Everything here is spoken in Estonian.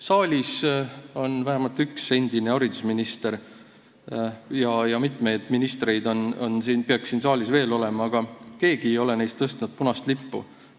Saalis on vähemalt üks endine haridusminister, mitmeid ministreid peaks siin veel olema, aga keegi ei ole neist tõstnud punast lippu.